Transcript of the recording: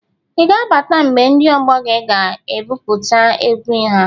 I ga abata mgbe ndị ọgbọ gị ga-ebupụta egwu ha?